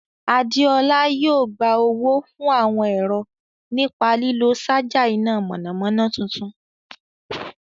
Adéọlá yóò gba owó fún àwọn ẹ̀rọ nípa lílo ṣaja iná mọ̀nàmọ́ná tuntun.